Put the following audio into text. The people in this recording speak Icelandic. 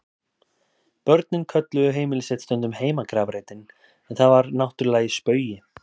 Börnin kölluðu heimili sitt stundum heimagrafreitinn en það var náttúrlega í spaugi.